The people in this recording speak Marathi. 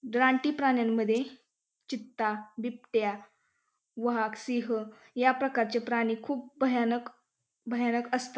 रानटी प्राण्यांमध्ये चित्ता बिबट्या वाघ सिंह या प्रकारचे प्राणी खूप भयानक भयानक असतात.